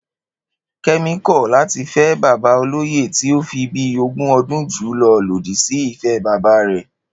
Ké̩mi kò̩ láti fé̩ bàbá olóyè tí o fi bíi ogún o̩dún jù ú lo̩ lòdì sí ìfé̩ bàbá rè̩